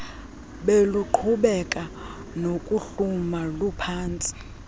beluqhubeka nokuhluma luphantsi